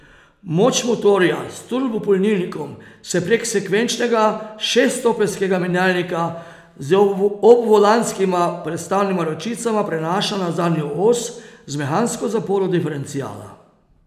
Moč motorja s turbopolnilnikom se prek sekvenčnega šeststopenjskega menjalnika z obvolanskima prestavnima ročicama prenaša na zadnjo os z mehansko zaporo diferenciala.